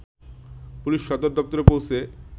police সদর দপ্তরে পৌঁছে